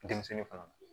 Denmisɛnnin fana ma